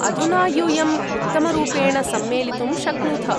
अधुना यूयम्‌ उत्तमरूपेण सम्मेलितुं शक्नुथ।